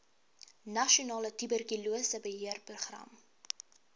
nasionale tuberkulose beheerprogram